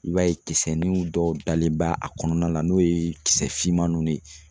I b'a ye kisɛ ninw dɔw dalen bɛ a kɔnɔna na n'o ye kisɛ finman nun de ye.